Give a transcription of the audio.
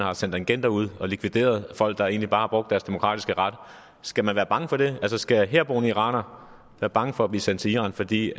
har sendt agenter ud og har likvideret folk der egentlig bare har brugt deres demokratiske ret skal man være bange for det altså skal herboende irakere være bange for at blive sendt til iran fordi